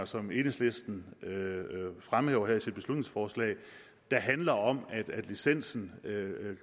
som enhedslisten fremhæver her i sit beslutningsforslag da handler om at licensen